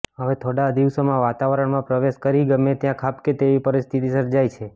હવે થોડા દિવસોમાં વાતાવરણમાં પ્રવેશ કરી ગમે ત્યાં ખાબકે તેવી પરિસ્થિતિ સર્જાય છે